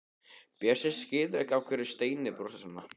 Bjössi skilur ekki af hverju Steini brosir svona.